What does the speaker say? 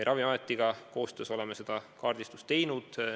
Oleme koostöös Ravimiametiga selle kaardistuse teinud.